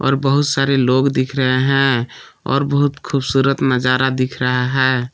और बहुत सारे लोग दिख रहे हैं और बहुत खूबसूरत नजारा दिख रहा है।